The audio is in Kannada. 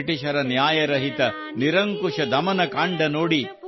ಬ್ರಿಟಿಷರ ನ್ಯಾಯರಹಿತ ನಿರಂಕುಶ ದಮನ ಕಾಂಡ ನೋಡಿ